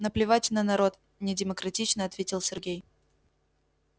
наплевать на народ недемократично ответил сергей